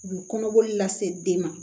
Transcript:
U bɛ kɔnɔboli lase den ma